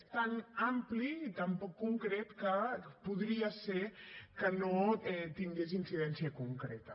és tan ampli i tan poc concret que podria ser que no tingués incidència concreta